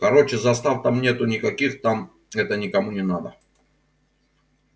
короче застав там нету никаких там это никому не надо